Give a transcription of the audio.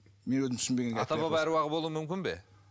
мен өзім ата баба аруағы болу мүмкін бе